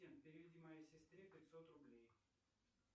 переведи моей сестре пятьсот рублей